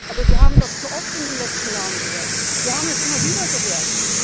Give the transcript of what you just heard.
Aber wir haben das zu oft in den letzten Jahren gehört, wir haben es immer wieder gehört.